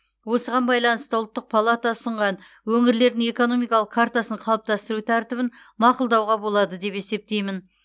осыған байланысты ұлттық палата ұсынған өңірлердің экономикалық картасын қалыптастыру тәртібін мақұлдауға болады деп есептеймін